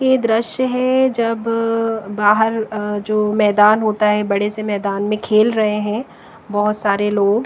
ये दृश्य है जब बाहर अह जो मैदान होता है बड़े से मैदान में खेल रहे है बहोत सारे लोग।